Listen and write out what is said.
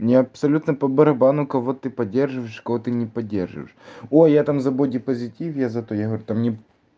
мне абсолютно по барабану кого ты поддерживаешь кого-то не поддерживаешь ой я там за бодипозитив я за то я говорю та мне